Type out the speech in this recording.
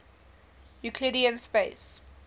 euclidean space